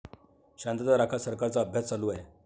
शांतता राखा, सरकारचा अभ्यास चालू आहे!